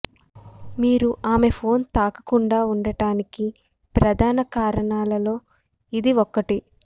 మీరు ఆమె ఫోన్ తాకకుండా ఉండటానికి ప్రధాన కారణాలలో ఇది ఒకటి